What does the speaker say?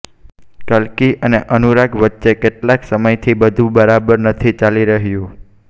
કલ્કી અને અનુરાગ વચ્ચે કેટલાક સમયથી બધુ બરાબર નથી ચાલી રહ્યું